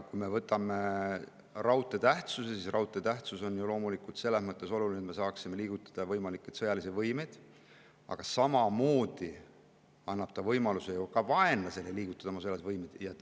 Kui me räägime raudtee tähtsusest, siis tuleb öelda, et raudtee on loomulikult oluline selles mõttes, et me saaksime liigutada võimalikke sõjalisi võimeid, aga samamoodi annab ta ju ka vaenlasele võimaluse liigutada oma sõjalisi võimeid.